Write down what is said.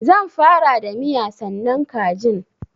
Zan fara da miya sannan kajin.